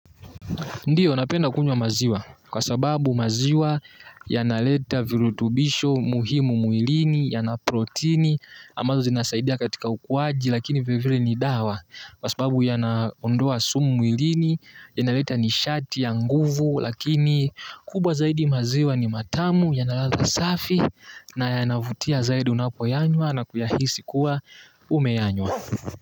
Ndiyo napenda kunywa maziwa kwa sababu maziwa yanaleta virutubisho muhimu mwilini yana protini ambazo zinasaidia katika ukuwaji lakini vile vile ni dawa kwa sababu yana ondoa sumu mwilini yanaleta nishati ya nguvu lakini kubwa zaidi maziwa ni matamu yanaladha safi na yanavutia zaidi unapoyanywa na kuyahisi kuwa umeanywa.